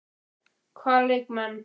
Hvaða leikmenn?